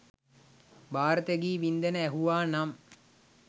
භාරත ගී වින්ඳන ඇහුවා නම්